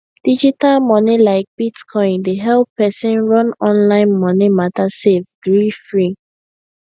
digital money like bitcoin dey help person run online money matter safe greefree